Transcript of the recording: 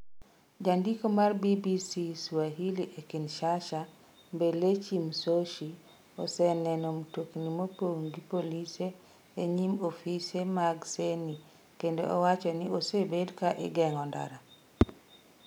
Jandiko mar BBC Swahili e Kinshasa, Mbelechi Msoshi, oseneno mtokni mopong ' gi polise e nyim ofise mag Ceni kendo owacho ni osebed ka igeng'o ndara.